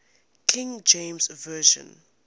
king james version